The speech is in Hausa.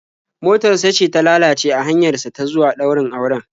Motar sa ce ta lalace a hanyar sa ta zuwa ɗaurin auren.